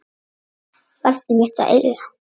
Barn mitt að eilífu.